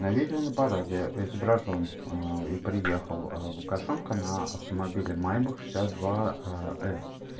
на видео на параде изображён и приехал лукашенко на автомобиле майбах шестьдесят два с